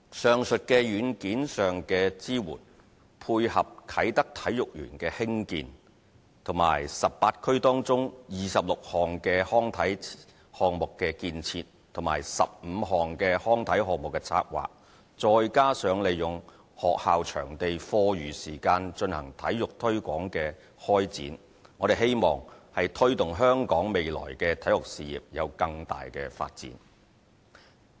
上述在軟件上的支援，配合啟德體育園的興建，以及18區中26項康體項目的建設，與15項康體項目的策劃，再加上利用學校場地課餘時間進行體育推廣的開展，我們希望推動香港的體育事業未來有更大的發展。